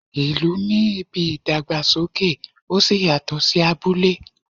ìlú ní ìbí ìdàgbàsókè oṣí yatọ sí abúlé.